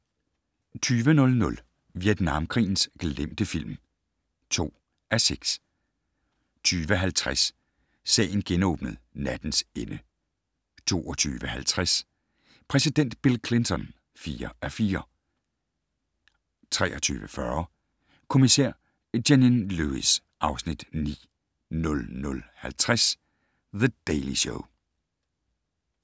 20:00: Vietnamkrigens glemte film (2:6) 20:50: Sagen genåbnet: Nattens ende 22:50: Præsident Bill Clinton (4:4) 23:40: Kommissær Janine Lewis (Afs. 9) 00:50: The Daily Show